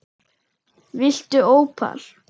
Viltu ópal?